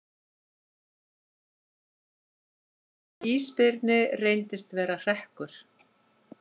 Tilkynning um ísbirni reyndist vera hrekkur